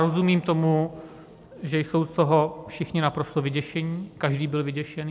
Rozumím tomu, že jsou z toho všichni naprosto vyděšeni, každý byl vyděšený.